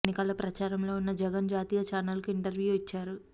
ఎన్నికల ప్రచారంలో ఉన్న జగన్ జాతీయ ఛానల్ కు ఇంటర్వ్యూ ఇచ్చారు